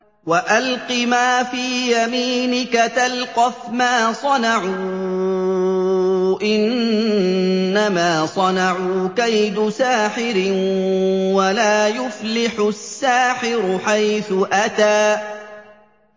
وَأَلْقِ مَا فِي يَمِينِكَ تَلْقَفْ مَا صَنَعُوا ۖ إِنَّمَا صَنَعُوا كَيْدُ سَاحِرٍ ۖ وَلَا يُفْلِحُ السَّاحِرُ حَيْثُ أَتَىٰ